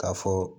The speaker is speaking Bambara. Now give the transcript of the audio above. K'a fɔ